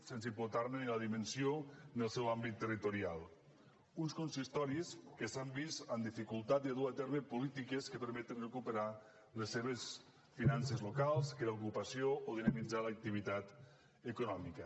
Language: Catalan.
sense importar ne ni la dimensió ni el seu àmbit territorial uns consistoris que s’han vist en dificultat de dur a terme polítiques que permetin recuperar les seves finances locals crear ocupació o dinamitzar l’activitat econòmica